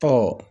Ɔ